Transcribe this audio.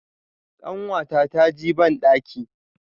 kanwata ta ji bandaki.